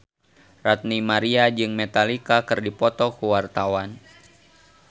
Ranty Maria jeung Metallica keur dipoto ku wartawan